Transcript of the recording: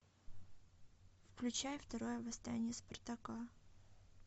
включай второе восстание спартака